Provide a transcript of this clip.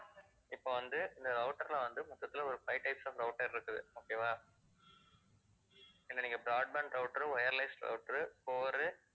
இப்ப வந்து இந்த router ல வந்து மொத்ததுல ஒரு five types of router இருக்குது okay வா இத நீங்க broadband router, wireless router, core உ